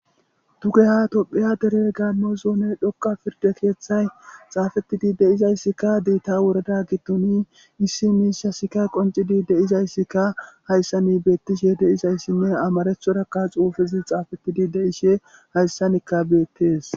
Dugeha tophiya dere gamozone dhoqa pirde keeththay xaafetidi deizayssikka diitta worada gittoni issi miisha sika qoncidi deizayssikka hayssani beettishe deizayssinne amarethorakka xuufezi xaafettidi deishe hayssanikka beettees.